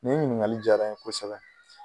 Nin ɲiniŋali diyara n ye kosɛbɛ